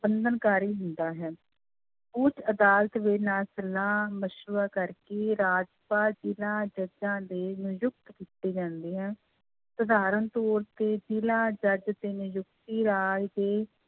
ਬੰਧਨਕਾਰੀ ਹੁੰਦਾ ਹੈ, ਉੱਚ ਅਦਾਲਤ ਦੇ ਨਾਲ ਸਲਾਹ ਮਸ਼ਵਰਾ ਕਰਕੇ ਰਾਜਪਾਲ ਜ਼ਿਲ੍ਹਾ ਜੱਜਾਂ ਦੇ ਨਿਯੁਕਤ ਕੀਤੀ ਜਾਂਦੀ ਹੈ, ਸਧਾਰਨ ਤੌਰ ਤੇ ਜ਼ਿਲ੍ਹਾ ਜੱਜ ਦੀ ਨਿਯੁਕਤੀ ਰਾਜ ਦੇ